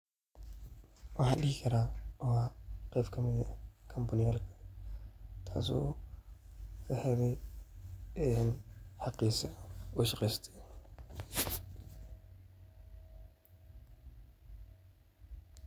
Waxan dhihi karaa waa qeb kamide kambaniyalka taaso lahelay xaqiisa uu shaqeyste